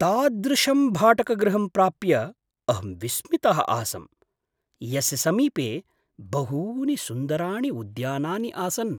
तादृशं भाटकगृहं प्राप्य अहं विस्मितः आसं, यस्य समीपे बहूनि सुन्दराणि उद्यानानि आसन्।